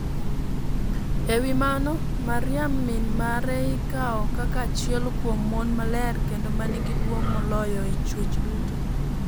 E wi mano, Mariam min mare ikawo kaka achiel kuom mon maler kendo ma nigi duong' moloyo e chwech duto.